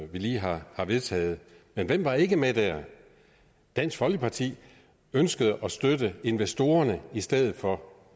vi lige har vedtaget men hvem var ikke med der dansk folkeparti ønskede at støtte investorerne i stedet for